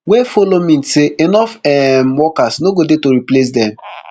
wey follow mean say enough um workers no go dey to replace dem